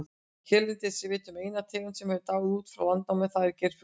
Hérlendis er vitað um eina tegund sem hefur dáið út frá landnámi, það er geirfuglinn.